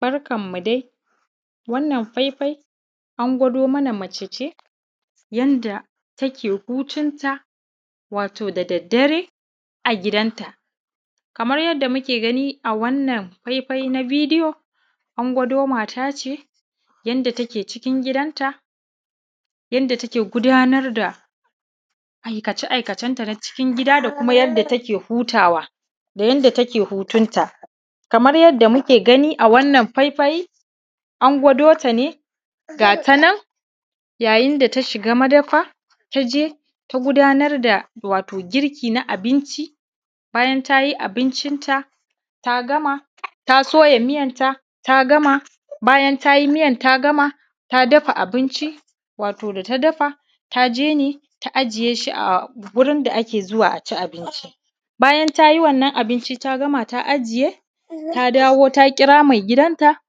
Barkanmu dai wannan faifai an gwada mana mace ce yanda take hutunta wato da daddare a gidanta kamar yadda muke gani a wannan faifai na bidiyo an gwado mate ce yanda take cikin gidanta yanda take gudanar da aikace aikacenta na cikin gidanda da kuma yanda take hutuwa da yanda take hutunta kamar yadda muke gani a wannan faifai an gwado ta ne ga tanan yayin da tashiga madafa ta je ta gudanar da wato girki na abinci bayan ta yi abinci ta gama ta soya mıyanta ta gama bayan ta yi mıyan ta gama ta dafa abinci wato da ta dafa ta je ne ta ajiye shi a wato wurin da ake zuwa a ci abinci bayan ta yi wannan abinci ta gama ta ajiye ta dawo ta kira mai gidanta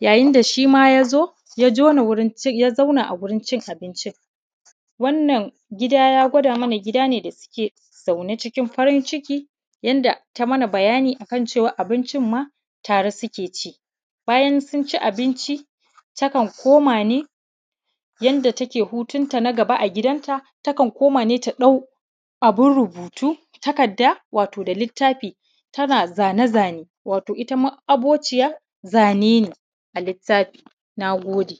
yayin da shima ya zo ya jona ya zauna a wurin cin abinci wannan gida ya gwada mana cewa gida ne da ke zaune cikin farin ciki yanda ta yi mana bayani akan cewa abincin ma tare suke ci abinci takan koma ne yanda take hutunta naga ba a gidanta takan koma ne ta ɗawo abun rubutu takadda wato da litafi tana zane-zane wato ita ma’abocin zanane a litafi. Na gode.